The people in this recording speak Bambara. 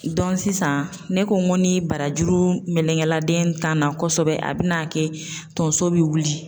sisan ne ko n ko ni barajuru melenke la den tan na kosɛbɛ, a bɛ na kɛ tonso bi wuli.